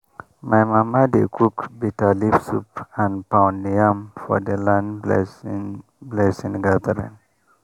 my mama dey cook bitterleaf soup and pound yam for the land blessing blessing gathering.